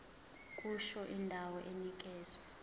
kusho indawo enikezwe